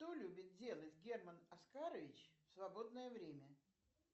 что любит делать герман оскарович в свободное время